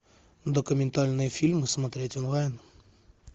документальные фильмы смотреть онлайн